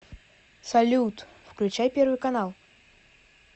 салют включай первый канал